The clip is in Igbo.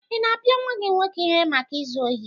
Ị na-apịa nwa gị nwoke ihe maka izu ohi?